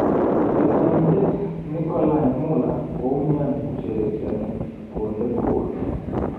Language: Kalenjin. Chesanindet Nicolai Muller koumian kosherekeani konde goal.